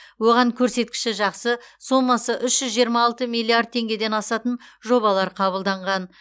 оған көрсеткіші жақсы сомасы үш жүз жиырма алты миллиард теңгеден асатын жобалар қабылданған